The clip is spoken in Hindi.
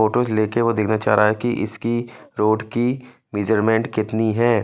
फोटोस ले के वो देखना चाह रहा है कि इसकी रोड की मेजरमेंट कितनी है।